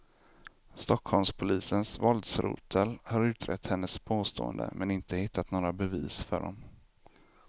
Stockholmspolisens våldsrotel har utrett hennes påståenden men inte hittat några bevis för dem.